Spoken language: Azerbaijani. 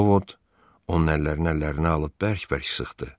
Ovod onun əllərini əllərinə alıb bərk-bərk sıxdı.